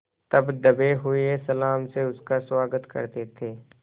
तब दबे हुए सलाम से उसका स्वागत करते थे